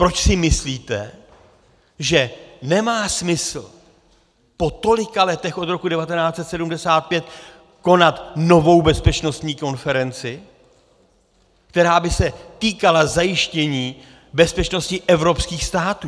Proč si myslíte, že nemá smysl po tolika letech od roku 1975 konat novou bezpečnostní konferenci, která by se týkala zajištění bezpečnosti evropských států?